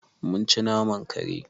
Mun ci naman kare.